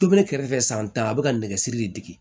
Tobi ne kɛrɛfɛ san tan a be ka nɛgɛsiri de digi